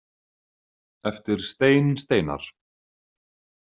Eftir Stein Steinar